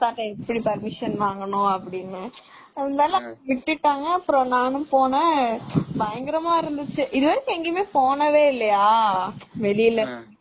எப்படி permission வாங்கனும் அப்படினு.அதுனால விட்டுட்டாங்க அப்பறம் நானும் போனேன் பயங்கரமா இருந்துச்சு இதுவரையும் எங்கையும் போனதே இல்லையா வெளியில